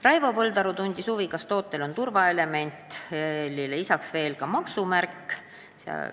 Raivo Põldaru tundis huvi, kas toote pakendil on turvaelement ja lisaks ka maksumärk.